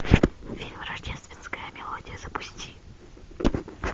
фильм рождественская мелодия запусти